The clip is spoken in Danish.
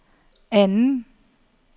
anden